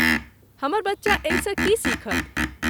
हमर बच्चा एहिसँ की सीखत?